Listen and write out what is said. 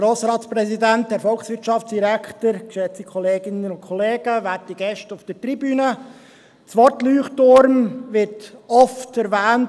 Das Wort Leuchtturm wird oft erwähnt, und es ist auch bereits heute erwähnt worden.